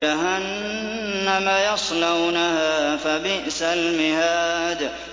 جَهَنَّمَ يَصْلَوْنَهَا فَبِئْسَ الْمِهَادُ